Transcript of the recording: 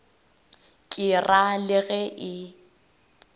ke ra le ge e